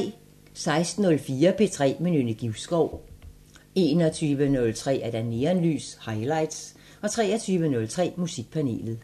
16:04: P3 med Nynne Givskov 21:03: Neonlys – Highlights 23:03: Musikpanelet